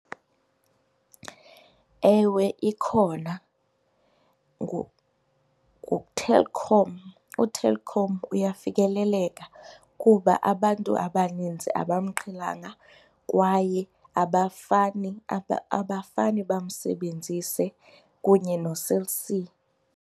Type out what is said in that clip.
Ewe, ikhona nguTelkom. UTelkom uyafikeleleka kuba abantu abaninzi abamqhelanga kwaye abafani abafani bamsebenzise kunye noCell C.